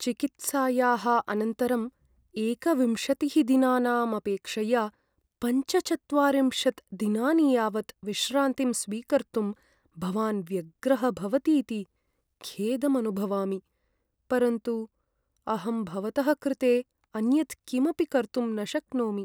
चिकित्सायाः अनन्तरं एकविंशतिः दिनानाम् अपेक्षया पञ्चचत्वारिंशत् दिनानि यावत् विश्रान्तिं स्वीकर्तुं भवान् व्यग्रः भवतीति खेदम् अनुभवामि, परन्तु अहं भवतः कृते अन्यत् किमपि कर्तुं न शक्नोमि।